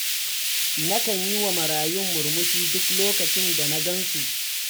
Nakan yi wa marayun murmushi duk lokacin da na gan su.